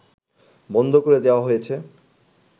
বন্ধ করে দেয়া হয়েছে